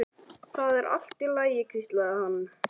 Það er allt í lagi hvíslaði hann.